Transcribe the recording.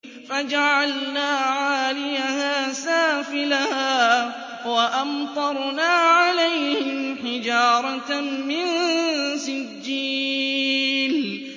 فَجَعَلْنَا عَالِيَهَا سَافِلَهَا وَأَمْطَرْنَا عَلَيْهِمْ حِجَارَةً مِّن سِجِّيلٍ